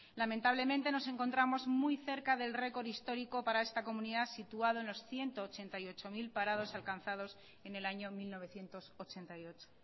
lamentablemente nos encontramos muy cerca del récord histórico para esta comunidad situado en los ciento ochenta y ocho mil parados alcanzados en el año mil novecientos ochenta y ocho